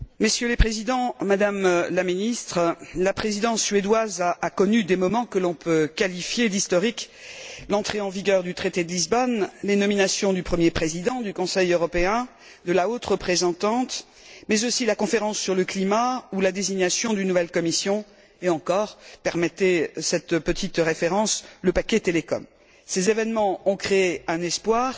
Messieurs les Présidents, Madame la Ministre, la Présidence suédoise a connu des moments que l'on peut qualifier d'historiques l'entrée en vigueur du traité de Lisbonne, les nominations du premier président du Conseil européen, de la haute représentante, mais aussi la conférence sur le climat ou la désignation d'une nouvelle Commission et encore permettez cette petite référence le paquet télécom. Ces événements ont créé un espoir.